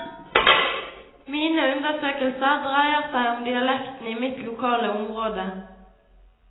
Mine undersøkelser dreier seg om dialekten i mitt lokale område.